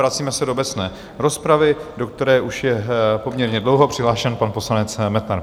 Vracíme se do obecné rozpravy, do které je už poměrně dlouho přihlášen pan poslanec Metnar.